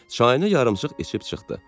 Çayını yarımçıq içib çıxdı.